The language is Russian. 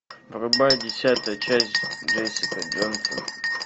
врубай десятая часть джессика джонсон